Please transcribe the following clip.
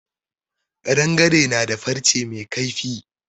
Ƙadangare na da farce mai kaifi.